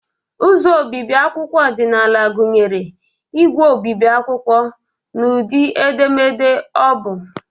Ụzọ obibi akwụkwọ ọdịnala gụnyere ígwè obibi akwụkwọ na ụdị edemede obu.